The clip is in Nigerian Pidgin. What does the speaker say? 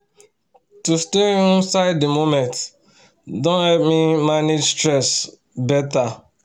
to stay um inside the moment don help me um manage stress better